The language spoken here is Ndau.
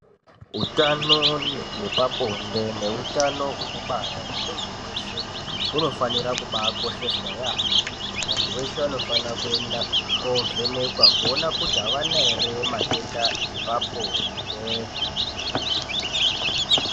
utano hwepabonde neutano hwekubara hwemunhu weshe hunofanira kubakosheswa yaamho vantu veshe vanofanira kuenda kovhenekwa kuona kuti avana here matenda epabonde .